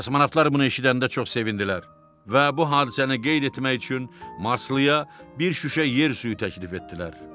Kosmonavtlar bunu eşidəndə çox sevindilər və bu hadisəni qeyd etmək üçün Marslıya bir şüşə yer suyu təklif etdilər.